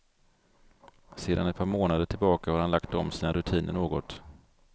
Sedan ett par månader tillbaka har han lagt om sina rutiner något.